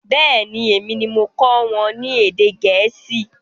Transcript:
Bẹẹni, èmi ni mo kọ́ wọn ní èdè Gẹ̀ẹ́sì